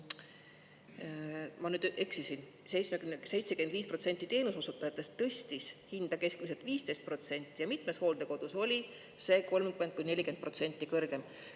Ma nüüd eksisin, 75% teenuseosutajatest tõstis hinda keskmiselt 15% ja mitmes hooldekodus oli see 30–40% kõrgem.